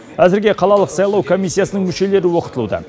әзірге қалалық сайлау комиссиясының мүшелері оқытылуда